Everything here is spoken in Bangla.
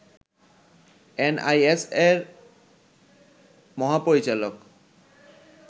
এনএসআই’র মহাপরিচালক